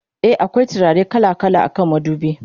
e akwai turare kala kala akan madubi